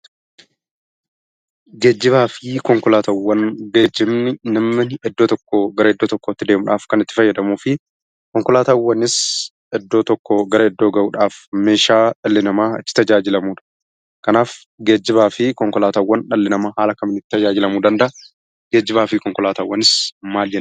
Geejjibni kan namni iddoo tokkoo gara iddoo tokkootti deemuuf kan itti fayyadamuu fi konkolaataawwanis iddoo tokkoo gara iddoo tokkootti geessisuudhaaf meeshaa dhalli namaa itti tajaajilamudha. Geejjibaa fi konkolaataa haala kamiin itti fayyadamuu?